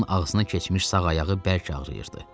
Timsahın ağzına keçmiş sağ ayağı bərk ağrıyırdı.